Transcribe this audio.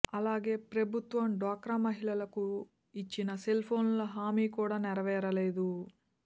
అలాగే ప్రభుత్వం డ్వాక్రా మహిళలకు ఇచ్చిన సెల్ ఫోన్ల హామీ కూడా నెరవేరలేదు